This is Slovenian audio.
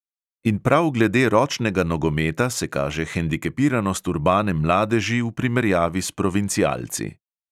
In prav glede ročnega nogometa se kaže hendikepiranost urbane mladeži v primerjavi s provincialci.